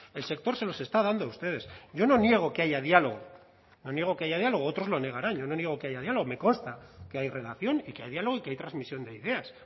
el sector se los está dando a ustedes yo no niego que haya diálogo no niego que haya diálogo otros lo negarán yo no niego que haya diálogo me consta que hay relación y que hay diálogo y que hay transmisión de ideas